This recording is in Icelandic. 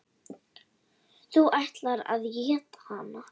Þú ætlaðir að éta hana.